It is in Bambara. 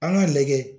An k'a lajɛ